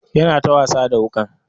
Yana ta wasa da wukan.